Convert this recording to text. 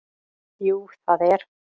Jú það er